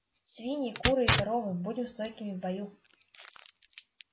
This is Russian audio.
свиньи куры и коровы будем стойкими в бою